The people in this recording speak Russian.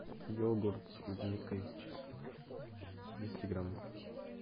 йогурт с клубникой двести грамм